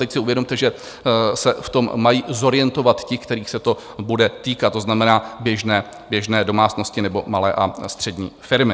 Teď si uvědomte, že se v tom mají zorientovat ti, kterých se to bude týkat, to znamená běžné domácnosti nebo malé a střední firmy.